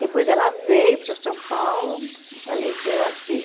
Depois ela veio para São Paulo, faleceu aqui.